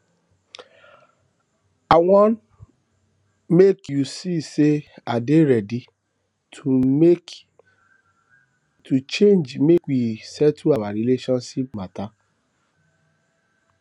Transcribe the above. i wan make you see sey i dey ready to make to change make we settle our relationship mata